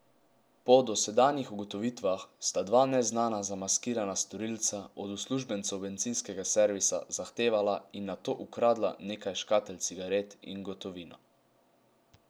Po dosedanjih ugotovitvah sta dva neznana zamaskirana storilca od uslužbencev bencinskega servisa zahtevala in nato ukradla nekaj škatel cigaret in gotovino.